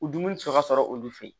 U dumuni sɔrɔ ka sɔrɔ olu fɛ yen